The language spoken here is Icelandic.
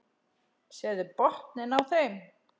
Sérðu botninn á þeim.